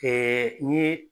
n ɲe